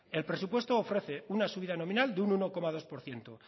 el presupuesto ofrece una subida nominal de un uno coma dos por ciento